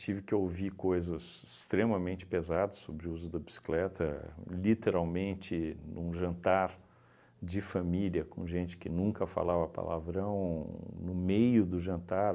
Tive que ouvir coisas extremamente pesadas sobre o uso da bicicleta, literalmente num jantar de família, com gente que nunca falava palavrão, no meio do jantar.